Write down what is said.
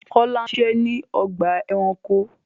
Kọlà ń ṣiṣẹ̀ ni ọgba ẹ̀ránkò